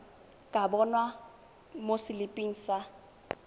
ka bonwa mo seliping sa